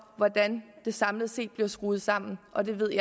hvordan det samlet set bliver skruet sammen og det ved